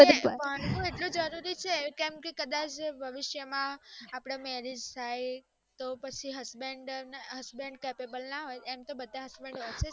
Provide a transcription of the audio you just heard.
ભણવું એટલું જરૂરી છે કે મ કે ભવિષ્ય માં અપડા marriage થાય પછી જો husband-capable ના હોઈ એમ તો બધા husband-office